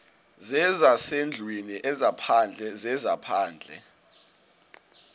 zezasendlwini ezaphandle zezaphandle